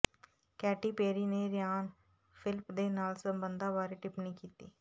Katy Perry ਨੇ Ryan Phillippe ਦੇ ਨਾਲ ਸਬੰਧਾਂ ਬਾਰੇ ਟਿੱਪਣੀ ਕੀਤੀ